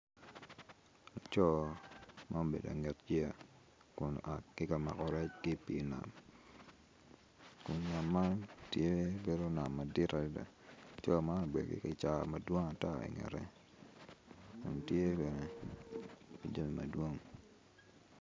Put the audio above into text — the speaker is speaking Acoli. Laco ma obedo ki ikanget yeya kun tye ka mako rec ki i pii nam kun nam man tye nam madit adada laco man obedo ikicaa madwong ata ingete kun tye bene ki jami madwong.